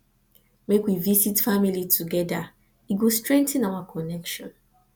make we visit family together e go strengthen our connection